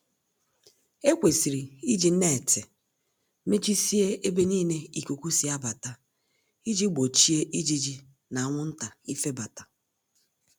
Ekwesịrị iji neetị mechisie ebe nile ikuku si abata, iji gbochie ijiji na anwụnta ifebata.